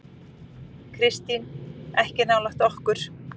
Kristín: Ekki nálægt okkur.